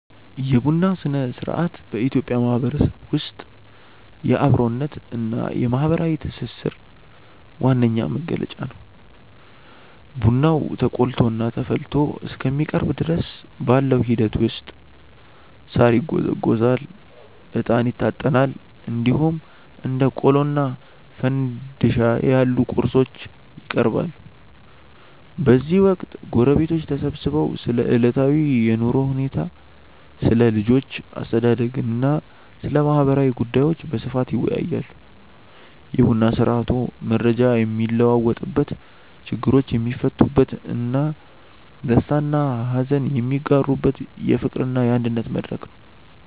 የቡና ሥነ-ሥርዓት በኢትዮጵያ ማህበረሰብ ውስጥ የአብሮነትና የማህበራዊ ትስስር ዋነኛ መገለጫ ነው። ቡናው ተቆልቶና ተፈልቶ እስከሚቀርብ ድረስ ባለው ሂደት ውስጥ ሳር ይጎዘጎዛል፣ እጣን ይታጠናል፣ እንዲሁም እንደ ቆሎና ፋንድሻ ያሉ ቁርሶች ይቀርባሉ። በዚህ ወቅት ጎረቤቶች ተሰብስበው ስለ ዕለታዊ የኑሮ ሁኔታ፣ ስለ ልጆች አስተዳደግና ስለ ማህበራዊ ጉዳዮች በስፋት ይወያያሉ። የቡና ስርአቱ መረጃ የሚለዋወጥበት፣ ችግሮች የሚፈቱበትና ደስታና ሀዘን የሚጋሩበት የፍቅርና የአንድነት መድረክ ነው።